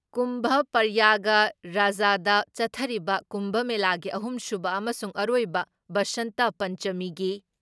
ꯀꯨꯝꯚ ꯄ꯭ꯔꯌꯥꯒ ꯔꯥꯖꯗ ꯆꯠꯊꯔꯤꯕ ꯀꯨꯝꯚ ꯃꯦꯂꯥꯒꯤ ꯑꯍꯨꯝꯁꯨꯕ ꯑꯃꯁꯨꯡ ꯑꯔꯣꯏꯕ ꯕꯁꯟꯇ ꯄꯟꯆꯃꯤꯒꯤ